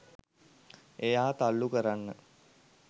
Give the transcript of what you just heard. එයා තල්ලු කරන්න